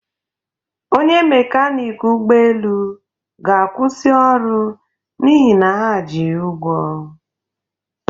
Onye mekanịk ụgbọelu ga-akwụsị ọrụ n'ihi na ha ji ya ụgwọ